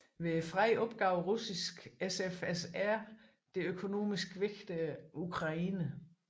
Ved freden opgav Russiske SFSR det økonomisk vigtige Ukraine